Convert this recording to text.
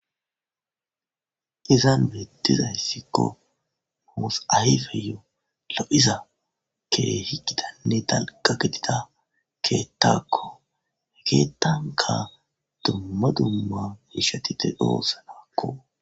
izan beettizayssikko moos ayfeyo lo7iza ke higidanne talqa getida keettakko hekeetanka dumma dumma ishatite doossanakko